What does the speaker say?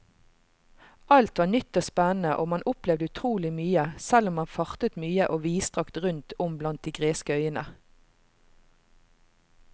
Alt var nytt og spennende og man opplevde utrolig mye, selv om man fartet mye og vidstrakt rundt om blant de greske øyene.